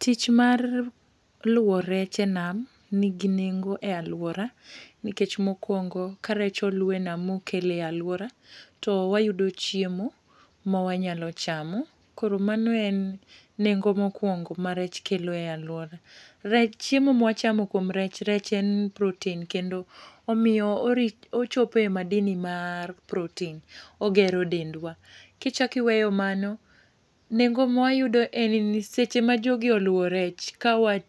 Tich mar luwo rech e nam nigi nengo e alwora, nikech mokwongo, ka rech olu e nam ma okel e alwora, to wayudo chiemo mawanyalo chamo. Koro mano en nengo mokwongo ma rech kelo e alwora. Rech, chiemo ma wachamo kuom rech, rech en protein kendo omiyo, ochope madini mar protein. Ogero dendwa. Kichak iweyo mano, nengo ma wayudo en ni, seche ma jogi oluwo rech, ka wa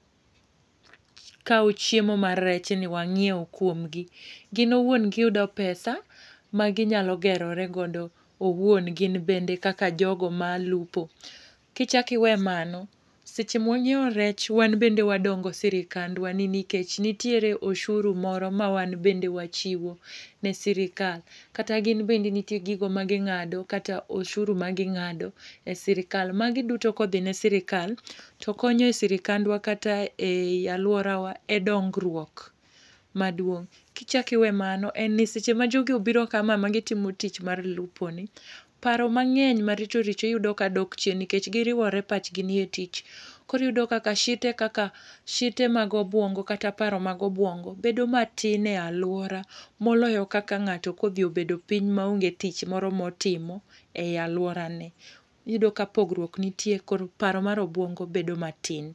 kao chiemo mar rechni wanyiew kuom gi, gin owuon giyudo pesa ma ginyalo gerore godo owuon gin bende kaka jogo malupo. Ki chak iwe mano, seche ma wanyiewo rech, wan bende wadongo sirikandwa ni nikech nitiere oshuru moro ma wanbende wachiwo ne sirkal. Kata gin bende nitiere gigo magingádo kata oshuru ma gingádo e sirkal. Magi duto kodhi ne sirkal, to konyo e sirkandwa kata e alworawa e dongruok maduong'. Kichak iwe mano, en ni seche ma jogi obiro kama ma gitimo tich mar luponi, paro mangény maricho richo iyudo ka dok chien nikech giriwore pachgi nie tich. Koro iyudo kaka shite kaka, shite mag obuongo kata paro mag obuongo bedo matin e alwora moloyo kaka ngáto ka odhi obedo piny maonge tich moro motimo e alworane. Iyudo ka pogriok nitie, koro paro mar obuongo bedo matin.